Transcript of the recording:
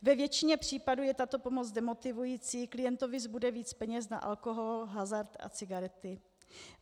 Ve většině případů je tato pomoc demotivující, klientovi zbude víc peněz na alkohol, hazard a cigarety.